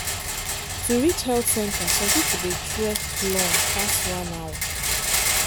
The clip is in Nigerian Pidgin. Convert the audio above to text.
to reach health centre some people dey trek long pass one hour.